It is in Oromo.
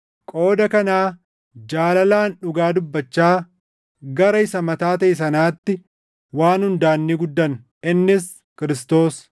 Qooda kanaa jaalalaan dhugaa dubbachaa gara isa mataa taʼe sanaatti waan hundaan ni guddanna; innis Kiristoos.